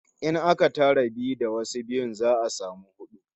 In aka tara biyu da wasu biyun, za'a samu hudu